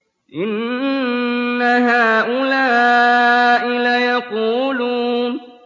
إِنَّ هَٰؤُلَاءِ لَيَقُولُونَ